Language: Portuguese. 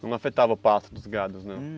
Não afetava o pasto dos gados, não?